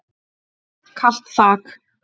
Kalt þak.